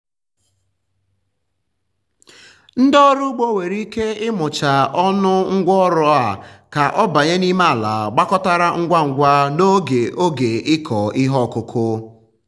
ndị ọrụ ugbo nwere ike ịmụcha ọnụ ngwa ọrụ a ka ọ banye n'ime ala gbakọtara ngwa ngwa n'oge oge ịkọ ihe ọkụkụ.